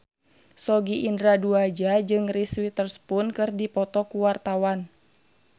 Sogi Indra Duaja jeung Reese Witherspoon keur dipoto ku wartawan